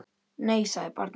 Nei, sagði barnið.